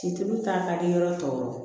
Situlu ta ka kɛ yɔrɔ tɔw ye